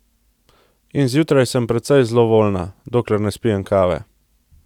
In zjutraj sem precej zlovoljna, dokler ne spijem kave!